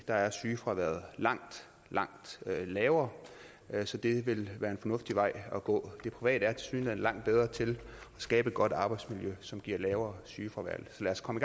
der er sygefraværet langt langt lavere så det vil være en fornuftig vej at gå det private er tilsyneladende langt bedre til at skabe et godt arbejdsmiljø som giver lavere sygefravær så lad os komme